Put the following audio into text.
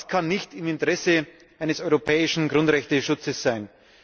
Das kann nicht im Interesse eines europäischen Grundrechteschutzes sein.